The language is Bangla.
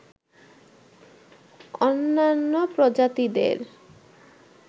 অন্যান্য প্রজাতিদের